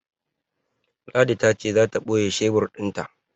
Ladi ta ce za ta ɓoye shebur ɗin ta.